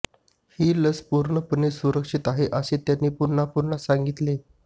ही लस पूर्णपणे सुरक्षित आहे असे त्यांनी पुन्हा पुन्हा सांगितले